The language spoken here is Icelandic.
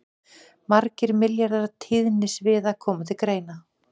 Margir milljarðar tíðnisviða koma til greina.